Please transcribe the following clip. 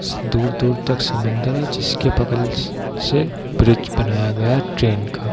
दूर-दूर तक समंदर है जिसके बगल स से ब्रिज बनाया गया है ट्रैन का।